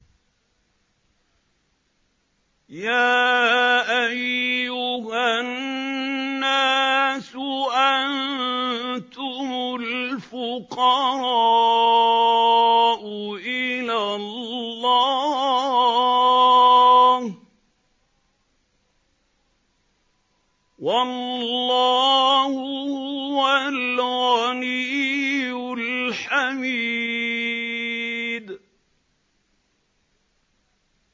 ۞ يَا أَيُّهَا النَّاسُ أَنتُمُ الْفُقَرَاءُ إِلَى اللَّهِ ۖ وَاللَّهُ هُوَ الْغَنِيُّ الْحَمِيدُ